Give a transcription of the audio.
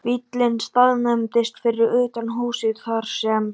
Bíllinn staðnæmdist fyrir utan húsið þar sem